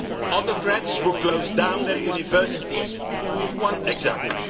Autocrats will close down their universities, to give one example.